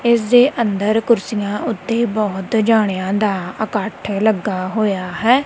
ਇਸ ਦੇ ਅੰਦਰ ਕੁਰਸੀਆਂ ਉੱਤੇ ਬਹੁਤ ਜਾਣਿਆਂ ਦਾ ਇਕੱਠ ਲੱਗਾ ਹੋਇਆ ਹੈ।